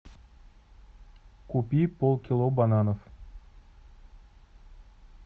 купи полкило бананов